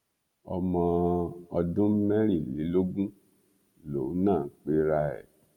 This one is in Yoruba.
ọmọ ọdún mẹrìnlélógún lòun náà pera ẹ